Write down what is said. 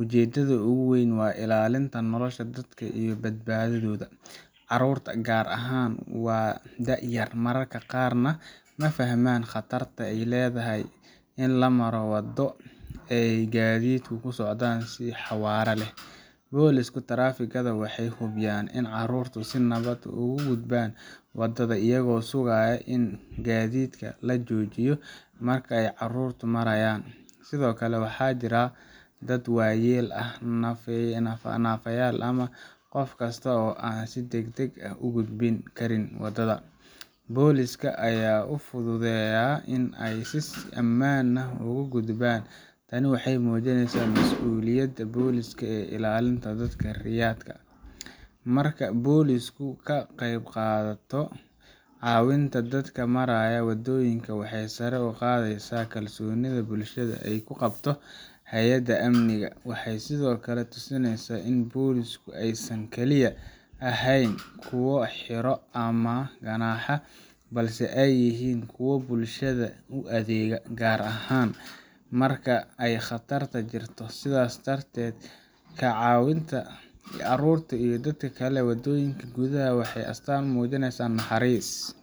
Ujeedada ugu weyn waa ilaalinta nolosha dadka iyo badbaadadooda. Carruurta, gaar ahaan, waa da’ yar, mararka qaarna ma fahmaan khatarta ay leedahay in la maro waddo ay gaadiidku ku socdaan si xawaare leh. Booliiska taraafikada waxay hubiyaan in carruurtu si nabad ah ugu gudbaan waddada iyagoo sugaya in gaadiidka la joojiyo marka ay carruurtu marayaan. Sidoo kale, waxaa jira dad waayeel ah, naafayaal, ama qof kasta oo aan si degdeg ah u gudbi karin waddada booliiska ayaa u fududeeya in ay si ammaan ah uga gudbaan. Tani waxay muujinaysaa mas’uuliyadda booliiska ee ilaalinta dadka rayidka ah. Marka booliisku ka qaybqaato caawinta dadka maraya waddooyinka, waxay sare u qaadaysaa kalsoonida bulshada ay ku qabto hay’adaha amniga. Waxay sidoo kale tusinaysaa in booliisku aysan kaliya ahayn kuwa xiro ama ganaaxa, balse ay yihiin kuwa bulshada u adeega, gaar ahaan marka ay khatar jirto. Sidaas darteed, ka caawinta carruurta iyo dadka kale ee waddooyinka gudbaya waa astaan muujinaysa naxariis,